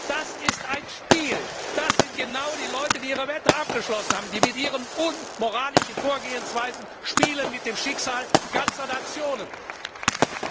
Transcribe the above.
Das ist ein Spiel! Das sind genau die Leute, die ihre Wette abgeschlossen haben, die mit ihren unmoralischen Vorgehensweisen mit dem Schicksal ganzer Nationen spielen.